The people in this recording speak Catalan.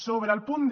sobre el punt d